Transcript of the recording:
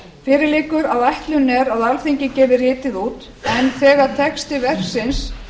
fjórði fyrir liggur að ætlunin er að alþingi gefi ritið út en þegar texti verksins